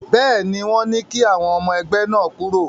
Bẹ́ẹ̀ ni, wọ́n ní kí àwọn ọmọ ẹgbẹ́ náà kúrò.